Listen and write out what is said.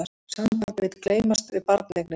Sambandið vill gleymast við barneignir